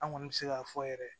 An kɔni bɛ se k'a fɔ yɛrɛ